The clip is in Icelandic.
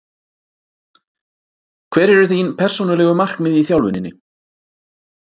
Hver eru þín persónulegu markmið í þjálfuninni?